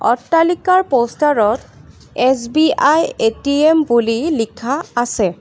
অট্টালিকাৰ পোষ্টাৰত SBI ATM বুলি লিখা আছে।